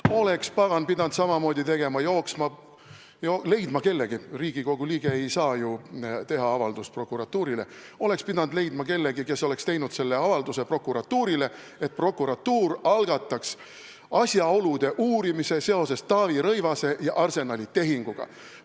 Oleks, pagan, pidanud samamoodi tegema, jooksma ja leidma kellegi , kes oleks teinud avalduse, et prokuratuur algataks asjaolude uurimise seoses Taavi Rõivase ja Arsenali tehinguga.